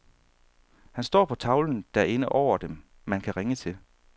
Han står på tavlen derinde over dem, man kan ringe til.